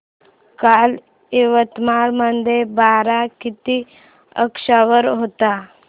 काल यवतमाळ मध्ये पारा किती अंशावर होता